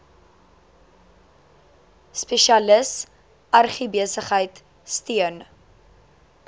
spesialis agribesigheid steun